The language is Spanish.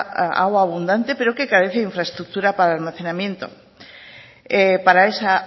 agua abundante pero que carece de infraestructura para almacenamiento para esa